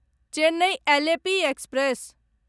Chennai Alleppey express